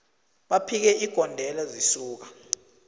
baphike igondelo zisuka